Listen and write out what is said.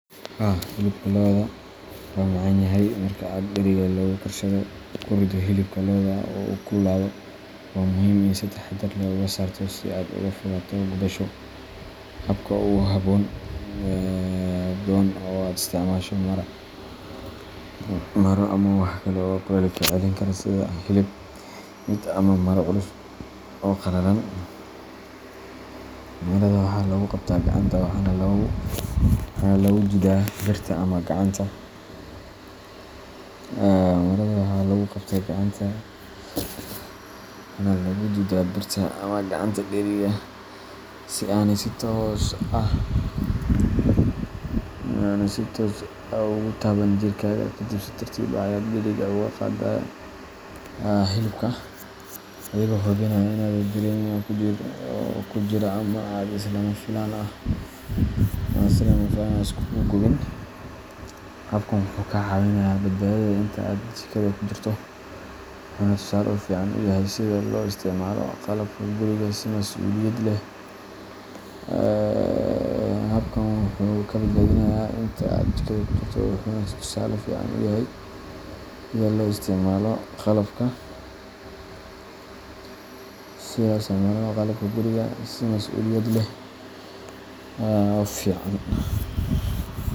Haa hilibka loda wa macanyahay ,Marka aad dheriga wax lagu karsado ku riddo hilibka loda oo uu kululaado, waxaa muhiim ah in aad si taxaddar leh uga saarto si aad uga fogaato gubasho. Habka ugu nabdoon waa in aad isticmaasho maro ama wax kale oo kulaylka celin kara sida hilib meat ama maro culus oo qalalan. Marada waxaa lagu qabtaa gacanta waxaana lagu duudaa birta ama gacanta dheriga, si aanay si toos ah ugu taaban jirkaaga. Kadib, si tartiib ah ayaad dheriga uga qaadaa hilibka, adigoo hubinaya in aadan dareerin waxa ku jira ama aad si lama filaan ah isugu gubin. Habkan wuxuu kaa caawinayaa badbaadadaada inta aad jikada ku jirto, wuxuuna tusaale fiican u yahay sida loo isticmaalo qalabka guriga si masuuliyad leh oo fican.